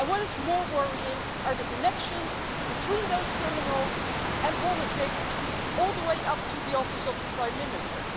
And what is more worrying are the connections between those criminals and politics, all the way up to the Office of the Prime Minister.